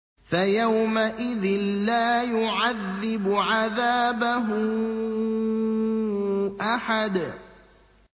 فَيَوْمَئِذٍ لَّا يُعَذِّبُ عَذَابَهُ أَحَدٌ